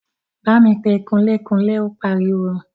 Bámi pe kunlé-kunlé! Ó pariwo.